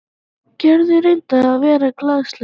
Gerður reyndi að vera glaðleg.